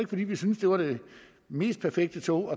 fordi vi syntes det var det mest perfekte tog